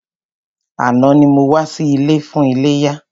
Àná ni mo wá sí ilé fún iléyá.